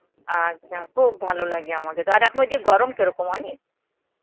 আচ্ছা, খুব ভালো লাগে আমাদের. আর এখন ওই দিকে গরম কেমন অনেক?